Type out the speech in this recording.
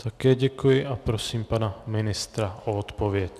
Také děkuji a prosím pana ministra o odpověď.